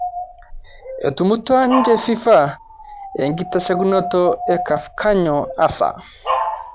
Etumutua ninje fifa enkitashekino e Cafkanyoo asa